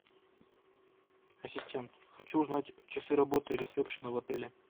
ассистент хочу узнать часы работы ресепшена в отеле